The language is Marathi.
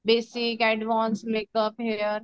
Basic advance makeup hair.